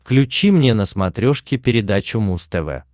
включи мне на смотрешке передачу муз тв